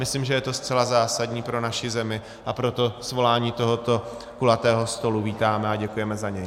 Myslím, že je to zcela zásadní pro naši zemi, a proto svolání tohoto kulatého stolu vítáme a děkujeme za něj.